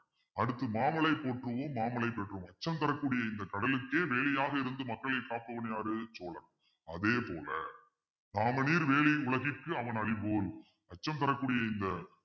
அடுத்து மாமழை போற்றுவோம் மாமழை போற்றுவோம் அச்சம் தரக்கூடிய இந்த கடலுக்கே வேலியாக இருந்து மக்களை காப்பவன் யாரு சோழன் அதே போல உலகிற்கு அவன் அடிபோல் அச்சம் தரக்கூடிய இந்த